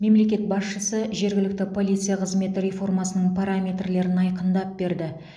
мемлекет басшысы жергілікті полиция қызметі реформасының параметрлерін айқындап берді